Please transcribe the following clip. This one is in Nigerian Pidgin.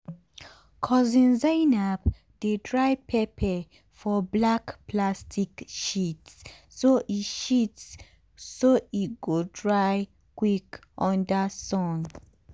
cousin zainab dey dry pepper for black plastic sheets so e sheets so e go dry quick under sun.